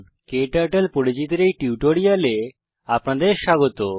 ক্টার্টল পরিচিতির এই টিউটোরিয়ালে আপনাদের স্বাগত